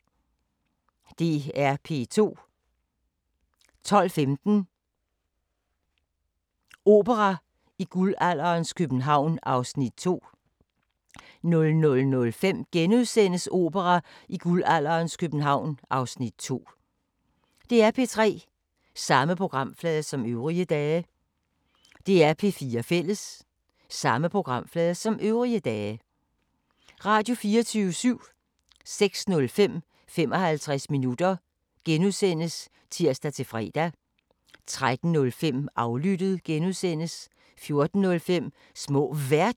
05:05: Vagn på floden (4:11) 05:45: Ude i naturen: Saltholm (Afs. 2) 06:10: Kongerigets kager (7:12) 06:40: Aftenshowet *(tir-fre) 07:30: Hammerslag (8:10)* 08:15: Vores ukendte Danmark (Afs. 6)* 09:00: En ny begyndelse II (Afs. 2) 09:45: Downton Abbey V (7:10)* 10:30: Antikkrejlerne (Afs. 319) 11:15: Antikkrejlerne (Afs. 320)